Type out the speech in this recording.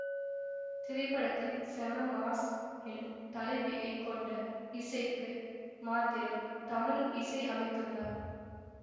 திரைப்படத்தின் செம மாஸ் எனும் தலைப்பினை கொண்ட இசைக்கு மாத்திரம் தமன் இசை அமைத்துள்ளார்